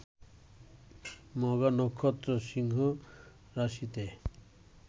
মঘা নক্ষত্র সিংহরাশিতে